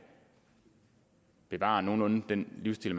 bevare nogenlunde den livsstil